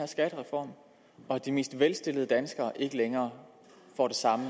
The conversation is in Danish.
skattereform og at de mest velstillede danskere ikke længere får det samme